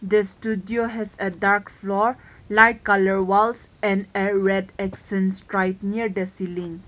They stood you has a dark floor light colour walls and a red excense straight near the ceiling.